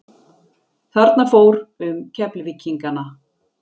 Þarna fór um Keflvíkingana.